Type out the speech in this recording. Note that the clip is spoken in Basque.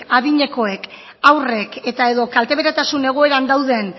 adinekoek haurrek edota kalte beretasun egoera berberean dauden